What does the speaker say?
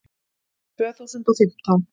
Tvö þúsund og fimmtán